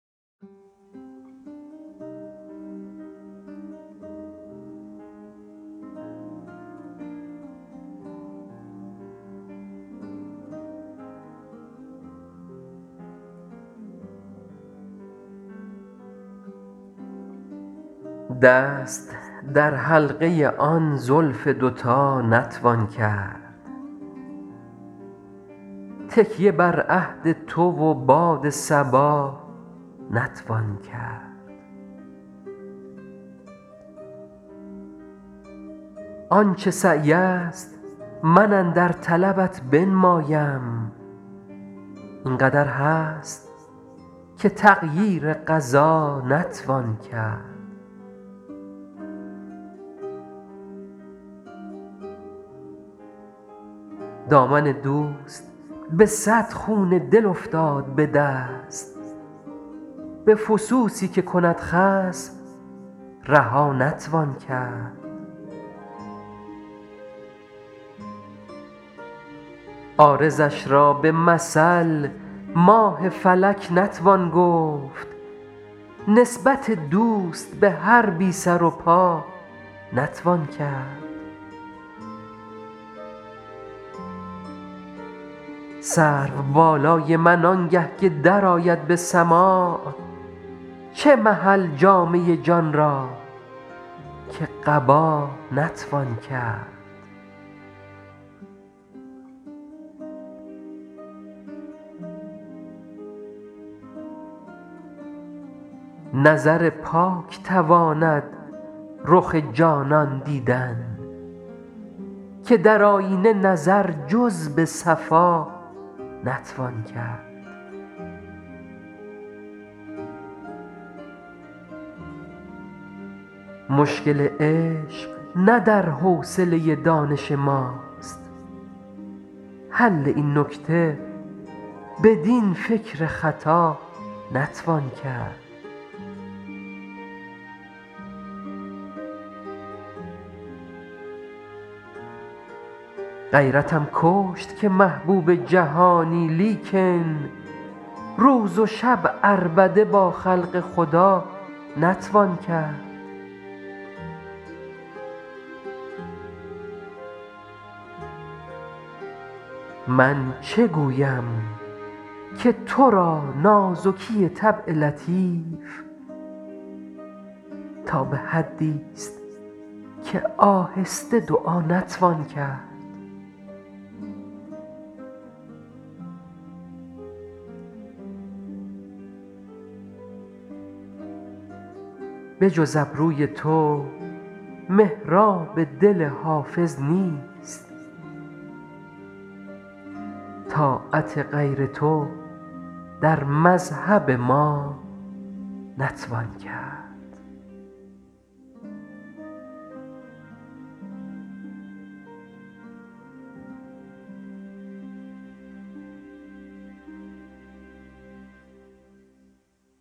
دست در حلقه آن زلف دوتا نتوان کرد تکیه بر عهد تو و باد صبا نتوان کرد آن چه سعی است من اندر طلبت بنمایم این قدر هست که تغییر قضا نتوان کرد دامن دوست به صد خون دل افتاد به دست به فسوسی که کند خصم رها نتوان کرد عارضش را به مثل ماه فلک نتوان گفت نسبت دوست به هر بی سر و پا نتوان کرد سرو بالای من آنگه که درآید به سماع چه محل جامه جان را که قبا نتوان کرد نظر پاک تواند رخ جانان دیدن که در آیینه نظر جز به صفا نتوان کرد مشکل عشق نه در حوصله دانش ماست حل این نکته بدین فکر خطا نتوان کرد غیرتم کشت که محبوب جهانی لیکن روز و شب عربده با خلق خدا نتوان کرد من چه گویم که تو را نازکی طبع لطیف تا به حدیست که آهسته دعا نتوان کرد بجز ابروی تو محراب دل حافظ نیست طاعت غیر تو در مذهب ما نتوان کرد